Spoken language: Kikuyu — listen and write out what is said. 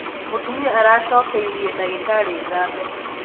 Mūtumia aracokeirie ndagītarī ngatho